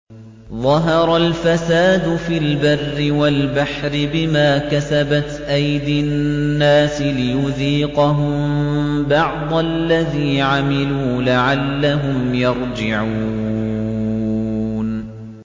ظَهَرَ الْفَسَادُ فِي الْبَرِّ وَالْبَحْرِ بِمَا كَسَبَتْ أَيْدِي النَّاسِ لِيُذِيقَهُم بَعْضَ الَّذِي عَمِلُوا لَعَلَّهُمْ يَرْجِعُونَ